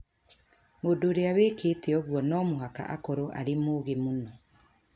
Mũndũ ũrĩa wĩkĩte ũguo no mũhaka akorũo arĩ mũũgĩ mũno".